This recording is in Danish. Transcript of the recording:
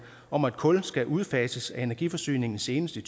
om at kul skal udfases af energiforsyningen senest i